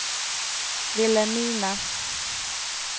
Vilhelmina